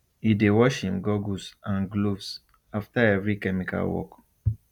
e dey wash im goggles and gloves after every chemical work